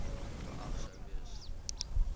geag sou gewees